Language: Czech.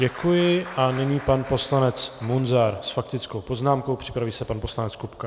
Děkuji a nyní pan poslanec Munzar s faktickou poznámkou, připraví se pan poslanec Kupka.